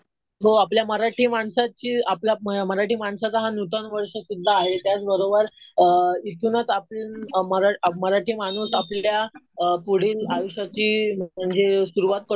हो. आपल्या मराठी माणसाची, आपल्या मराठी माणसाचा हा नूतन वर्ष सुध्दा आहे. त्याच बरोबर इथूनच आपण मराठी माणूस आपल्या पुढील आयुष्याची म्हणजे सुरुवात